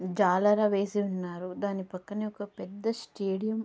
జాలరా వేసి ఉన్నారు. దాని పక్కనే ఒక పెద్ద స్టేడియం --